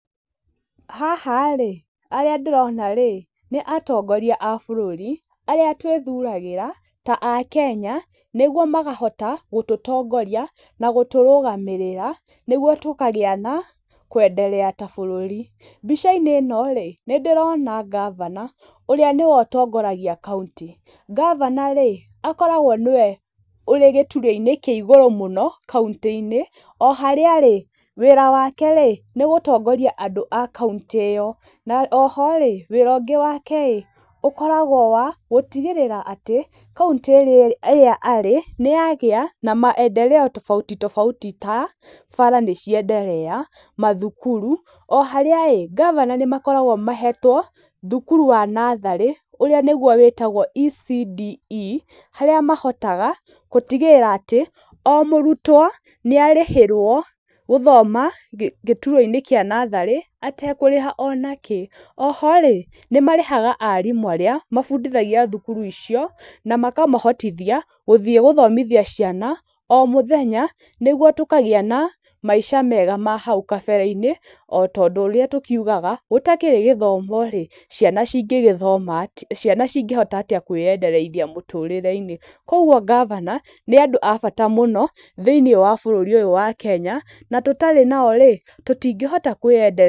Haha rĩ, arĩa ndĩrona rĩ, nĩ atongoria a bũrũri, arĩa twĩthuragĩra ta akenya, nĩguo makahota gũtũtongoria, na gũtũrũgamĩrĩra, nĩguo tũkagĩa na kwenderea ta bũrũri. Mbica-inĩ ĩno rĩ, nĩ ndĩrona ngabana, ũrĩa nĩwe ũtongoragia kaũntĩ, ngabana rĩ, akoragwo nĩwe ũrĩ gĩturwa-inĩ kĩa igũrũ mũno kaũntĩ-inĩ, o harĩa rĩ, wĩra wake rĩ, nĩ gũtongoria andũ a kaũntĩ iyo, na o ho rĩ , wĩra ũngĩ wake ĩ ũkoragwo wa gũtigĩrĩra atĩ, kaũntĩ ĩrĩa arĩ nĩyagĩa na maendereo tobauti tobauti ta bara nĩ cienderea, mathukuru. O harĩa ĩ, ngavana nĩ makoragwo mahetwo thukuru wa natharĩ, ũrĩa nĩguo wĩtagwo ECDE harĩa mahotaga gũtigĩrĩra atĩ o mũrutwo nĩ arĩhĩrwo gũthoma gĩturwa-inĩ kĩa natharĩ atekũrĩha o na kĩ. Oho rĩ, nĩ marĩhaga arimũ arĩa mabundithagia thukuru icio, na makamahotithia gũthiĩ gũthomithia ciana, o mũthenya, nĩguo tũkagĩa na maica mega ma hau kabere-inĩ ota ũndũ ũrĩa tũkiugaga, gũtakĩrĩ gĩthomo rĩ, ciana cingĩgĩthoma atĩa, ciana cingĩhota atĩa kwĩyenderithia mũtũrĩre-inĩ? Kũguo ngabana nĩ andũ a bata mũno, thĩiniĩ wa bũrũri ũyũ wa Kenya, na tũtarĩ nao rĩ, tũtingĩhota kwĩyendereithia.